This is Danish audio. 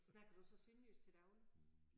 Snakker du så sønderjysk til daglig?